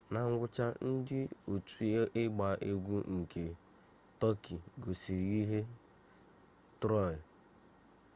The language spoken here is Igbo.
na ngwụcha ndị otu igba egwu nke tọki gosiri ihe ngosi troị